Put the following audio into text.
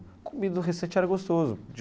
A comida era gostoso.